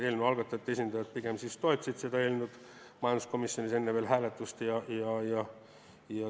Eelnõu algatajate esindajad toetasid seda eelnõu enne hääletust.